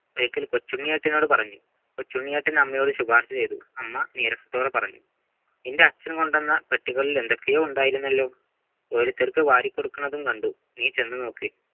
back ലെ കൊച്ചുണ്ണിയേട്ടനോട് പറഞ്ഞു കൊച്ചുണ്ണിയേറ്റം അമ്മയോട് ശുപാർശചെയ്തു 'അമ്മ നേരത്തോടെ പറഞ്ഞു നിൻ്റെ അച്ഛൻ കൊണ്ടുവന്ന പെട്ടികളിൽ എന്തൊക്കയൊന്നുണ്ടായിരുന്നുവല്ലോ ഓരോരുത്തർക്ക് വാരിക്കൊടുക്കുന്നതും കണ്ടു നീ ചെന്ന് നോക്ക്